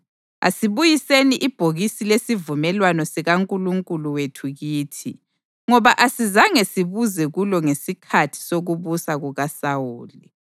Asibuyiseni ibhokisi lesivumelwano sikaNkulunkulu wethu kithi, ngoba asizange sibuze kulo ngesikhathi sokubusa kukaSawuli.”